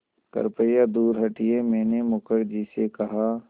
कृपया दूर हटिये मैंने मुखर्जी से कहा